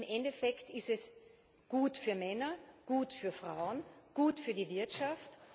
Denn im Endeffekt ist es gut für Männer, gut für Frauen, gut für die Wirtschaft.